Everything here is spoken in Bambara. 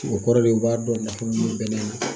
O kɔrɔ de ye u b'a dɔn nafa mun bɛnnɛ na.